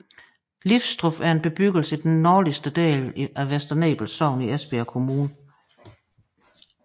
Lifstrup er en bebyggelse i den nordligste del af Vester Nebel Sogn i Esbjerg Kommune